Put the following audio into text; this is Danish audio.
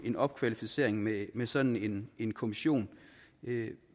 en opkvalificering med med sådan en kommission